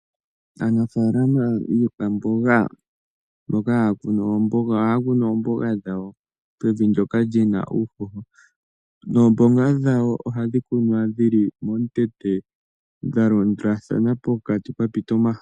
Aanafaalama yiikwamboga mboka haa kunu oomboga ohaa kunu oomboga dhawo mevi ndyoka li na uuhoho, noomboga dhawo ohadhi kunwa dhi li momukweyo dha landulathana pokati pwa pita omahala.